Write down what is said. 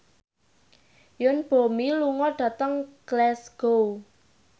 Yoon Bomi lunga dhateng Glasgow